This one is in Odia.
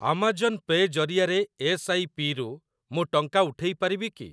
ଆମାଜନ୍ ପେ ଜରିଆରେ ଏସ୍‌ ଆଇ ପି ରୁ ମୁଁ ଟଙ୍କା ଉଠେଇ ପାରିବି କି?